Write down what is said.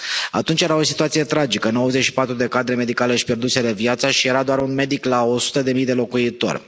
Atunci era o situație tragică 94 de cadre medicale își pierduseră viața și era doar un medic la o sută de mii de locuitori.